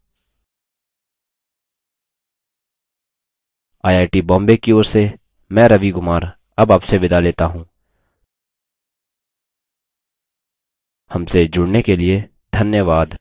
I I T Bombay की ओर से मैं रवि कुमार अब आपसे विदा लेता हूँ हमसे जुड़ने के लिए धन्यवाद